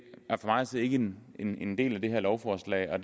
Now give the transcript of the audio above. er for mig at se ikke en en del af det her lovforslag jeg